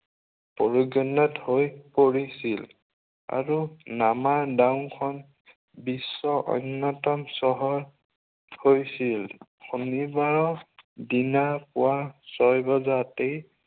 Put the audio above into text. প্ৰয়োজনত হৈ পৰিছিল। আৰু নামা দংখন বিশ্বৰ অন্য়তম চহৰ হৈছিল। শনিবাৰৰ দিনা পুৱা ছয় বজাতেই